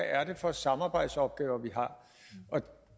er for samarbejdsopgaver vi